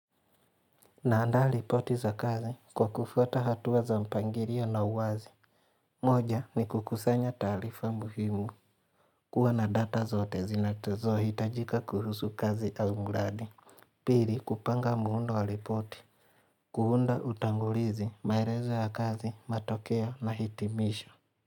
Na andaa ripoti za kazi kwa kufuata hatua za mpangilio na uwazi. Moja ni kukusanya taalifa muhimu. Kuwa na data zote zinatazohitajika kuhusu kazi au mradi. Pili, kupanga muundo wa ripoti. Kuunda utangulizi, maelezo ya kazi, matokea na hitimisho.